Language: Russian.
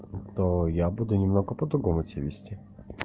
то я буду немного по-другому себя вести